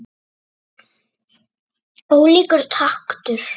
Ólíkur taktur.